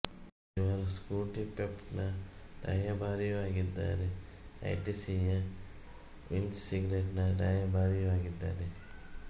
ಇವರು Scooty Pep ನ ರಾಯಭಾರಿಯೂ ಆಗಿದ್ದಾರೆ ಐ ಟಿ ಸಿ ಯ ವಿಲ್ಲ್ಸ್ ಸಿಗರೇಟಿನ ರಾಯಭಾರಿಯೂ ಆಗಿದ್ದಾರೆ